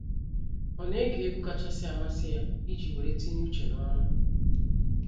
Ọ na ege egwu kachasị amasị ya iji weere tinye uche n’ọrụ.